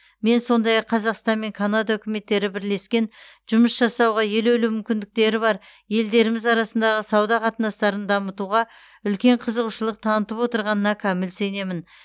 мен сондай ақ қазақстан мен канада үкіметтері бірлескен жұмыс жасауға елеулі мүмкіндіктері бар елдеріміз арасындағы сауда қатынастарын дамытуға үлкен қызығушылық танытып отырғанына кәміл сенемін